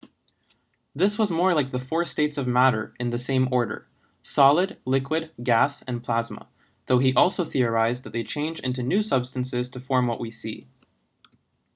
this was more like the four states of matter in the same order: solid liquid gas and plasma though he also theorised that they change into new substances to form what we see